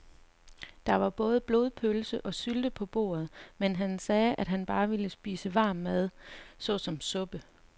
Der var både blodpølse og sylte på bordet, men han sagde, at han bare ville spise varm mad såsom suppe.